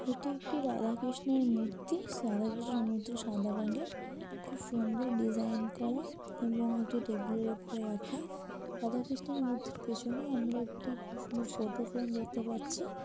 এটি একটি রাধা কৃষ্ণের মূর্তি রাধা কৃষ্ণের মূর্তিটি সাদা রঙের খুব সুন্দর ডিজাইন করা এবং একটি টেবিল -এর ওপর রাখা রাধা কৃষ্ণের মূর্তির পেছনে আমরা একটি খুব সুন্দর ফোটো ফ্রেম দেখতে পাচ্ছি।